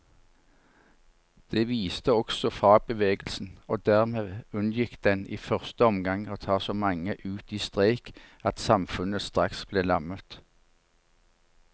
Det visste også fagbevegelsen, og dermed unngikk den i første omgang å ta så mange ut i streik at samfunnet straks ble lammet.